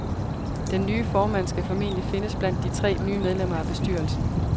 Den nye formand skal formentlig findes blandt de tre nye medlemmer af bestyrelsen.